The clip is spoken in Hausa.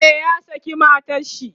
e ya saki matanshi